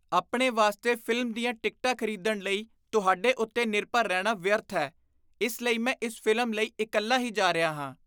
ਆਪਣੇ ਵਾਸਤੇ ਫ਼ਿਲਮ ਦੀਆਂ ਟਿਕਟਾਂ ਖ਼ਰੀਦਣ ਲਈ ਤੁਹਾਡੇ ਉੱਤੇ ਨਿਰਭਰ ਰਹਿਣਾ ਵਿਅਰਥ ਹੈ, ਇਸ ਲਈ ਮੈਂ ਇਸ ਫ਼ਿਲਮ ਲਈ ਇਕੱਲਾ ਹੀ ਜਾ ਰਿਹਾ ਹਾਂ।